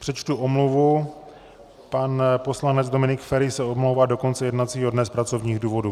Přečtu omluvu: pan poslanec Dominik Feri se omlouvá do konce jednacího dne z pracovních důvodů.